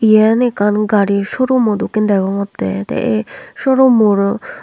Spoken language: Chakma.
yen ekkan gari shorumo dokken degongotte tey ey shorum moro.